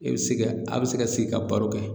I bɛ se ka a bɛ se ka sigi ka baro kɛ